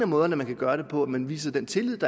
måderne man kan gøre det på nemlig at man viser den tillid